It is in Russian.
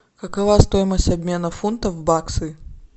какова стоимость обмена фунта в баксы